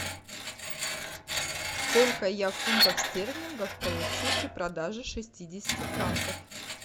сколько я фунтов стерлингов получу при продаже шестидесяти франков